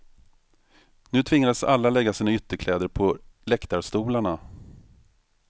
Nu tvingades alla lägga sin ytterkläder på läktarstolarna.